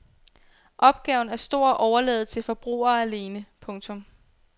Opgaven er stor at overlade til forbrugere alene. punktum